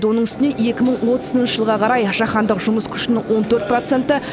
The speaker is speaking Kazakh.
оның үстіне екі мың отызыншы жылға қарай жаһандық жұмыс күшінің от төрт проценті